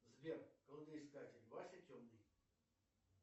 сбер кладоискатель вася темный